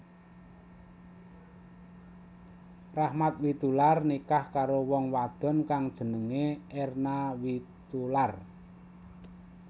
Rachmat Witoelar nikah karo wong wadon kang jenengé Erna Witoelar